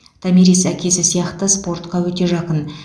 томирис әкесі сияқты спортқа өте жақын